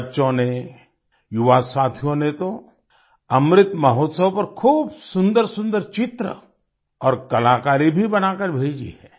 बच्चों ने युवा साथियों ने तो अमृत महोत्सव पर खूब सुंदरसुंदर चित्र और कलाकारी भी बनाकर भेजी है